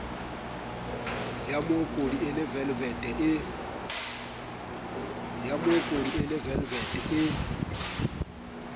yamookodi e le velevete e